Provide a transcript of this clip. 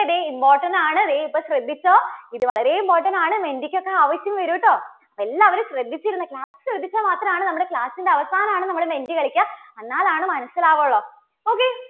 ക്കെ ദേ important ആണ്. ദേ ഇപ്പോൾ ശ്രദ്ധിച്ചോ. ഇത് വളരെ important ആണ്. menti ക്ക് ഒക്കെ ആവശ്യം വരൂട്ടോ. എല്ലാവരും ശ്രദ്ധിച്ചിരുന്നു, class ൽ ശ്രദ്ധിച്ചാൽ മാത്രാണ് നമ്മുടെ class ന്റെ അവസാനാണ് നമ്മള് menti കളിക്കുക. എന്നാൽ ആണ് മനസ്സിലാവുകയുള്ളൂ okay.